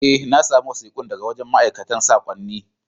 Eh, na samu wasikun daga wajen mai aikan sakonnin.